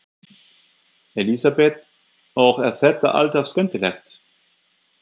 Elísabet: Og er þetta alltaf skemmtilegt?